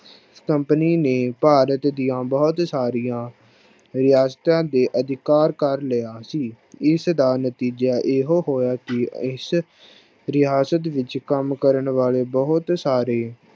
Company ਨੇ ਭਾਰਤ ਦੀਆਂ ਬਹੁਤ ਸਾਰੀਆਂ ਰਿਆਸਤਾਂ ਤੇ ਅਧਿਕਾਰ ਕਰ ਲਿਆ ਸੀ, ਇਸਦਾ ਨਤੀਜਾ ਇਹੋ ਹੋਇਆ ਕਿ ਇਸ ਰਿਆਸਤ ਵਿੱਚ ਕੰਮ ਕਰਨ ਵਾਲੇ ਬਹੁਤ ਸਾਰੇ